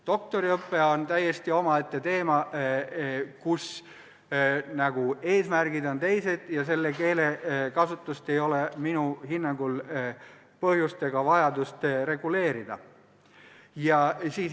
Doktoriõpe on täiesti omaette teema, kus eesmärgid on teised, ja selle keelekasutust ei ole minu hinnangul põhjust ega vajadust reguleerida.